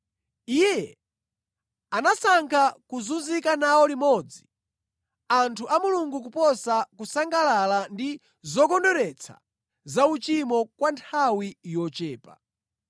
Iye anasankha kuzunzika nawo limodzi anthu a Mulungu kuposa kusangalala ndi zokondweretsa za uchimo kwa nthawi yochepa.